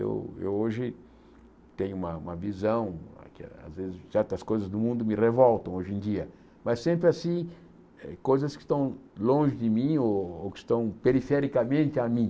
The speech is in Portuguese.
Eu eu hoje tenho tenho uma uma visão, às vezes certas coisas do mundo me revoltam hoje em dia, mas sempre assim coisas que estão longe de mim ou ou que estão perifericamente a mim.